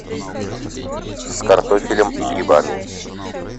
с картофелем и грибами